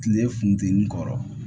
Kile funteni kɔrɔ